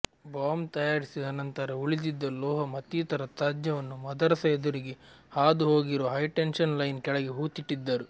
bomb ತಯಾರಿಸಿದ ನಂತರ ಉಳಿದಿದ್ದ ಲೋಹ ಮತ್ತಿತರ ತ್ಯಾಜ್ಯವನ್ನು ಮದರಸ ಎದುರಿಗೆ ಹಾದು ಹೋಗಿರುವ ಹೈಟೆನ್ಷನ್ ಲೈನ್ ಕೆಳಗೆ ಹೂತ್ತಿಟ್ಟಿದ್ದರು